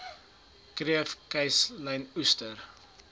kreef kuslyn oester